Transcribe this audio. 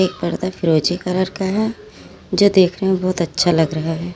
ये पर्दा फिरोजी कलर का है जो देखने में बहुत अच्छा लग रहा है।